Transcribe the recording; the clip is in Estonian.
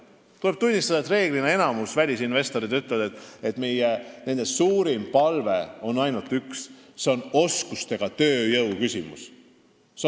Tuleb tunnistada, et reeglina nimetab enamik välisinvestoreid üht: nende suurim palve on seotud oskustööjõu küsimusega.